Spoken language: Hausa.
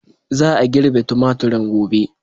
Za a girbe tumaturin gobe.